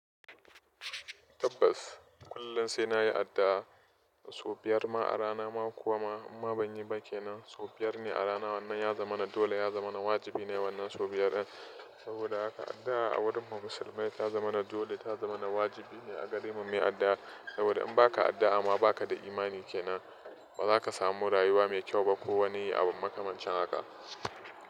Tabbas kullum sai na yi addu'a sau biyar ma a rana ma kuwa ma in ma ban yi ba ke nan sau biyar ne a rana. Wannan ya zama na dole, ya zama na wajibi ne wannan sau biyar. Saboda haka addu'a a wurin mu musulmai ta zama na dole, ta zama na wajibi ne a gare mu muyi addu'a. Saboda in ba ka addu'a ma ba ka da imani ke nan, ba za ka samu rayuwa mai kyau ba ko woni abu makamancin haka.